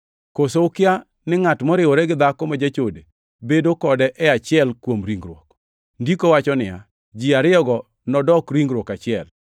Koso ukia ni ngʼat moriwore gi dhako ma jachode bedo kode e achiel kuom ringruok? Ndiko wacho niya, “Ji ariyogo nodok ringruok achiel.” + 6:16 \+xt Chak 2:24\+xt*